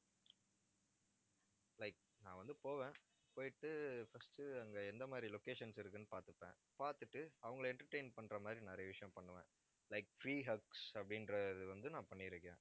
like நான் வந்து போவேன். போயிட்டு first அங்க எந்த மாதிரி locations இருக்குன்னு பார்த்துப்பேன். பார்த்துட்டு அவங்களை entertain பண்ற மாதிரி நிறைய விஷயம் பண்ணுவேன். like free hugs அப்படின்ற இது வந்து, நான் பண்ணிருக்கேன்